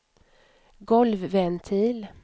golvventil